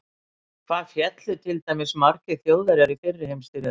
Hvað féllu til dæmis margir Þjóðverjar í fyrri heimsstyrjöld?